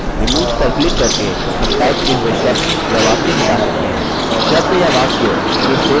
remove पर click करके हम टाइप किए हुए शब्द या वाक्य मिटा सकते हैं